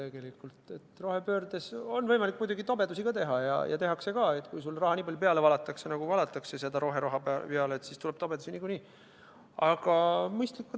Muidugi on rohepöörde käigus võimalik ka tobedusi teha ja tehaksegi, sest kui raha valatakse peale nii palju, nagu valatakse roheraha, siis tuleb niikuinii ka tobedusi.